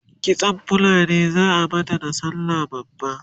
kitsan fulani zaa mata da sallah babba?